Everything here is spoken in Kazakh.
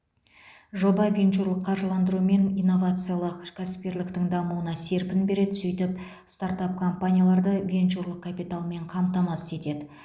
жоба венчурлық қаржыландыру мен инновациялық кәсіпкерліктің дамуына серпін береді сөйтіп стартап компанияларды венчурлық капиталмен қамтамасыз етеді